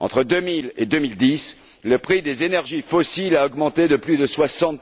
Entre 2000 et 2010, le prix des énergies fossiles a augmenté de plus de 60